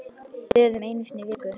Böðun einu sinni í viku!